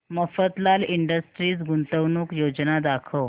Mafatlal industries गुंतवणूक योजना दाखव